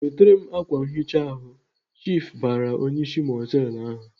"Wetere m ákwà nhicha ahụ!" Chiifu bara onyeisi mọtelụ ahụ.